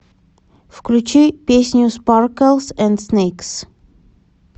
включи песню спарклс энд снэйкс